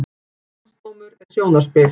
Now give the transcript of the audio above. Landsdómur er sjónarspil